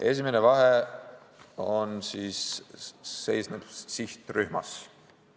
Esimene vahe seisneb sihtrühmas.